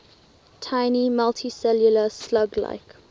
tiny multicellular slug like